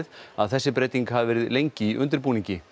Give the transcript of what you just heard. að þessi breyting hafi verið lengi í undirbúningi